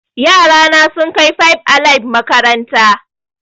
Yara na sun kai five alive makaranta